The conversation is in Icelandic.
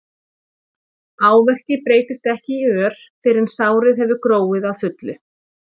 áverki breytist ekki í ör fyrr en sárið hefur gróið að fullu